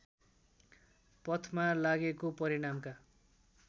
पथमा लागेको परिणामका